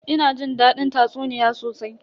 Ina jin dadin tatsuniya sosai.